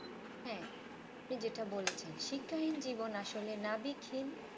হ্যাঁ এমনি যেটা বলেছেন শিক্ষাহীন জীবন আসলে নাবিকহীন